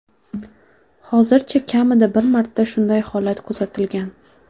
Hozircha kamida bir marta shunday holat kuzatilgan.